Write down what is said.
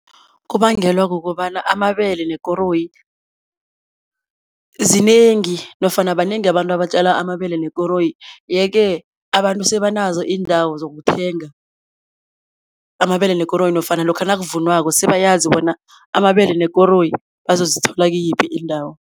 Kubangelwa kukobana amabele nekoroyi zinengi nofana banengi abantu abatjala amabele nekoroyi yeke abantu sebanazo iindawo zokuthenga amabele nekoroyi nofana lokha nakuvunwako sebayazi bona amabele nekoroyi bazozithola kiyiphi indawo.